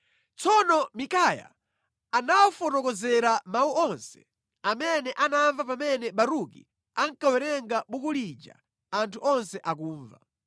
Tsono Mikaya anawafotokozera mawu onse amene anamva pamene Baruki ankawerenga buku lija anthu onse akumva.